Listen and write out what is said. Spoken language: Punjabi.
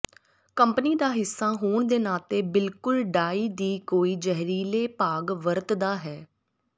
ਕੰਪਨੀ ਦਾ ਹਿੱਸਾ ਹੋਣ ਦੇ ਨਾਤੇ ਬਿਲਕੁਲ ਡਾਈ ਦੀ ਕੋਈ ਜ਼ਹਿਰੀਲੇ ਭਾਗ ਵਰਤਦਾ ਹੈ